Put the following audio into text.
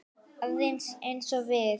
Alveg eins og við.